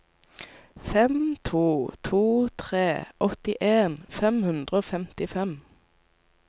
fem to to tre åttien fem hundre og femtifem